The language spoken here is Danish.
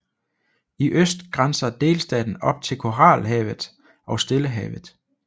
I øst grænser delstaten op til Koralhavet og Stillehavet